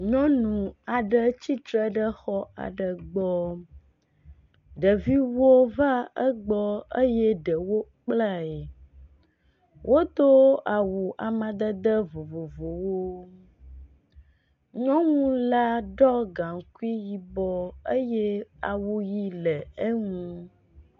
Nyɔnu aɖe tsitre ɖe xɔ aɖe gbɔ. Ɖeviwo va egɔ eye ɖewo kplae. Wodo awu amadede vovovowo. Nyɔnu la ɖɔ gaŋkui yibɔ eye awuʋi le eŋu.